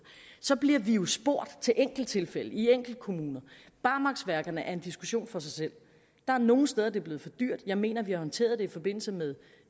så bliver vi jo spurgt til enkelttilfælde i enkeltkommuner barmarksværkerne er en diskussion for sig selv der er nogle steder det er blevet for dyrt jeg mener vi har håndteret det i forbindelse med